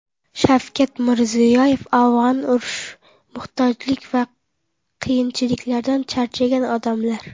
Shavkat Mirziyoyev: Afg‘onlar urush, muhtojlik va qiyinchiliklardan charchagan odamlar .